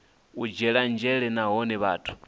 u dzhielwa nzhele nahone vhathu